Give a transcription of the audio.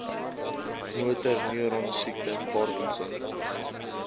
motorneuron siekte parkinson